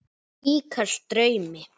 Líkast draumi.